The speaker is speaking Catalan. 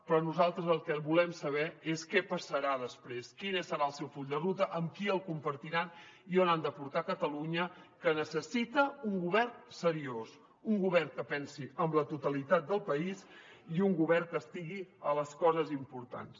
però nosaltres el que volem saber és què passarà després quin serà el seu full de ruta amb qui el compartiran i on han de portar catalunya que necessita un govern seriós un govern que pensi en la totalitat del país i un govern que estigui en les coses importants